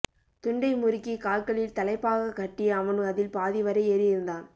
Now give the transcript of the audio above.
துண்டை முறுக்கி கால்களில் தளைப்பாகக் கட்டி அவன் அதில் பாதிவரை ஏறியிருந்தான்